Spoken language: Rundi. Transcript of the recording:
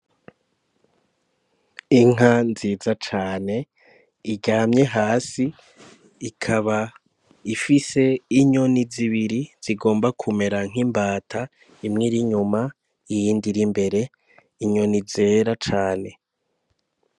Inka nziza cane iryamye hasi ikaba ifise inyoni zibiri zigomba kumera nk'imbata imwe irinyuma iyindi iri imbere inyoni zera cane.